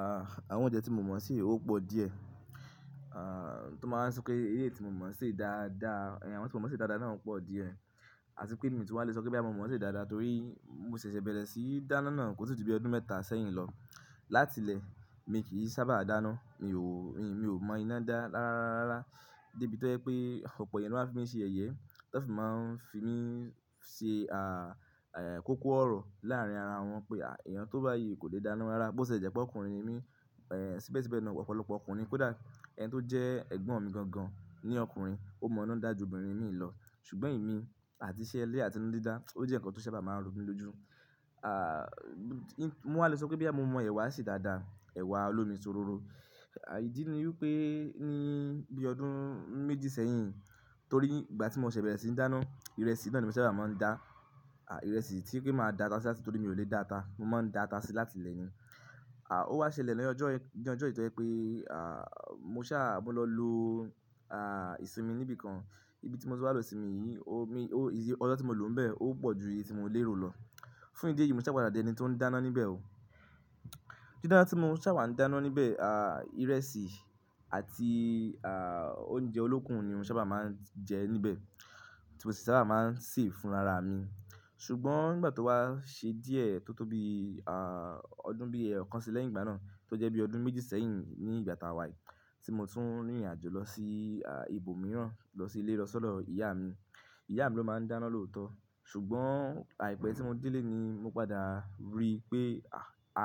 À, àwọn oúnjẹ tí mo mọ̀ sè ó pọ̀ díẹ̀. À, tán bá wá sọpé eléyì tí mo mọ̀ ṣe dáadáa, àwọn tí won mọ̀ ṣe dáadáa náà ń pọ̀ díẹ̀. Àti pé mi tún máa lè sọ pé bóyà mo mọ̀ ṣe dáadáa torí mo ṣẹ̀ṣẹ̀ bẹ̀rẹ̀ síní dáná náà kò tíì ju bi ọdún mẹ́ta sẹ́yìn lọ. Látilẹ̀ mi kì í sábà dáná, mi ò, mi ò mọ iná dá lára rá rá. Débi tó ẹ pé ọ̀pọ̀ èèyàn ló máa ń fi mí ṣe yẹyẹ, tán sì máa ń fi mí ṣe, à, è, kókó ọ̀rọ̀ láàrín ara wọn pé èèyàn tó bá yìí kò lè dáná rárá. Bó ṣe jẹ́pé ọkùnrin ni mi, è, síbẹ̀síbẹ̀ náà ọ̀pọ̀lọpọ̀ ọkùnrin, kódà ẹni tó jẹ́ ẹ̀gbọ́n mi gan gan ní ọkùnrin ó mọ iná dà ju obìnrin mi lọ. Ṣùgbọ́n èmi àti iṣẹ́ ilẹ́ àti iná dídá ó jẹ́ ǹkan tó sábà máa ń ro mí lójú. À, mo wáa lè sọ pé bóyá mo mọ èwà ṣe dáadáa, èwà olómi sóróró. À, ìdí ni wípé ní bí ọdún méjì sẹ́yìn torí ìgbà tí mo ṣẹ̀ bẹ̀rẹ̀ sí í dáná, ìrẹsì náà ni mo sábà máa ń dá. À, ìrẹsì tí pé màá dá ata sí a torí mi ò lè dá ata. Mo máa ń dá ata sí láti ilẹ̀ n i. À, ó wá ṣẹlẹ̀ lọ́jọ́ yẹn, ní ọjọ́ yí tó ẹ pé, à, mo sá á mo lọ lo, à, ìsimi níbi kan. Ibi tí mo ti wá lọ sinmi yìí, omi, o-- ìdí ọjọ́ tí mo lò n bẹ ó pọ̀ ju iye tí mo lé ro lọ. Fún ìdí èyí mo sáà padà di ẹni tó ń dáná níbẹ̀ ó. Dídáná tí mo sábà ń dáná níbẹ̀, à, ìrẹsì àti, à, oúnjẹ olókùn ni mo sábà máa ń jẹ níbẹ̀ tí mo sì sábà máa ń sè é fúnra ara mi. Ṣùgbọ́n nígbà tó wá ṣe díẹ̀ tó tó bi, à, ọdún bí ẹẹ́kan sílẹ̀ ìgbà náà tó jẹ́ bí ọdún méjì sẹ́yìn ní ìgbà tá wà yìí tí mo tún rìnrìnàjò lọ sí, à, ibòmíràn lọ sí ilé lọ̀ṣọ́do ọlọ ìyá mi. Ìyá mi ló máa ń dáná lóòótọ́. Ṣùgbọ́n àìpẹ́ tí mo délé ni mo padà rí pé, à,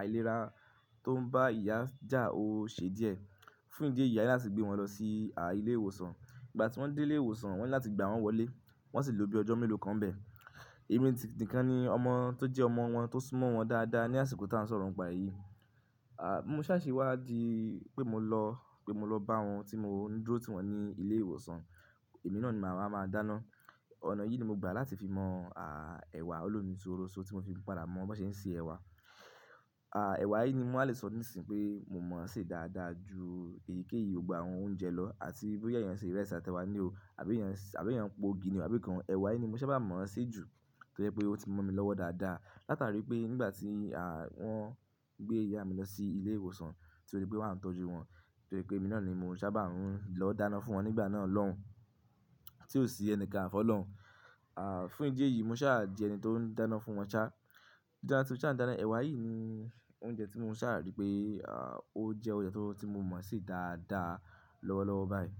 àìlera tó ń bá ìyá jà ó ṣe díẹ̀. Fún ìdí èyí á sáà ti gbé wọn lọ sí, à, ilé ìwòsàn. Ìgbà tí wọ́n dé ilé ìwòsàn wọ́n ní láti gba wọn wọlé, wọ́n sì ló bí ọjọ́ mélòó kan bẹ. Èmi nìkan ni ọmọ tó jẹ́ ọmọ wọn tó súnmọ́ wọn dáadáa ní àsìkò tí à ń sọ̀rọ̀ ǹ pa èyí. À, mo sá à ṣe wá di pé mo lọ, pé mo lọ bá wọn tí mo ń dúró tí wọn ní ilé ìwòsàn. Èmi náà ni màá máa dáná. Ọ̀nà yìí ni mo gbà láti fi mọ, à, ẹ̀wà olómi sóróso tí mo fi padà mọ bó ṣe ń ṣe ẹ̀wà. À, ẹ̀wà yìí ni mo wa lè sọ nísìń pé mo mọ̀ ṣe dáadáa ju èyíkéyìí gbogbo àwọn oúnjẹ lọ. Àti bó yẹn ṣe ìrẹsì àtẹwà ni o àbí yẹn, àbí yẹn po igi ni àbí nkan. Ẹ̀wà yìí ni mo sábà mọ̀ ọ́n sí ju torí pé ó ti mọ̀ mi lọ́wọ́ dáadáa. Láta rí pé nígbà tí, à, wọ́n gbé ìyá mi lọ sí ilé ìwòsàn torí pé wàá ń tọ́jú wọn torí pé èmi náà ni mo sábà ń lọ dáná fún wọn nígbà náà lọ́hùn, tí ò sí ẹni kan fọ́ lọ́hùn. À, fún ìdí èyí mo sá à di ẹni tó ń dáná fún wọn sá. Dídáná tí mo sá ń dáná, ẹ̀wà yìí ni oúnjẹ tí mo sá rí pé, à, ó jẹ́ oúnjẹ tí mo mọ̀ ṣe dáadáa lọ́wọ́lọ́wọ́ báyìí.